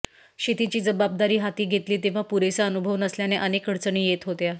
शेतीची जबाबदारी हाती घेतली तेव्हा पुरेसा अनुभव नसल्याने अनेक अडचणी येत होत्या